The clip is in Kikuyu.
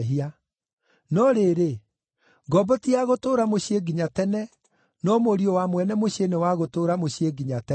No rĩrĩ, ngombo ti ya gũtũũra mũciĩ nginya tene no mũriũ wa mwene mũciĩ nĩ wa gũtũũra mũciĩ nginya tene.